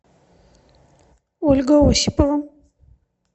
ольга осипова